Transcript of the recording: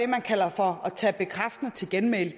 man kalder for at tage bekræftende til genmæle